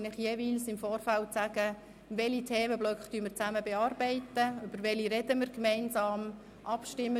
Ich werde Ihnen jeweils im Vorfeld mitteilen, welche Themenblöcke wir gemeinsam bearbeiten beziehungsweise über welche wir gemeinsam sprechen werden.